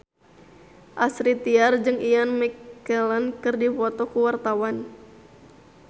Astrid Tiar jeung Ian McKellen keur dipoto ku wartawan